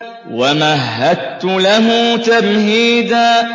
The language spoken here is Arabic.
وَمَهَّدتُّ لَهُ تَمْهِيدًا